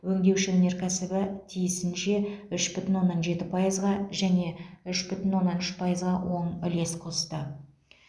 өңдеуші өнеркәсібі тиісінше үш бүтін оннан жеті пайызға және үш бүтін оннан үш пайызға оң үлес қосты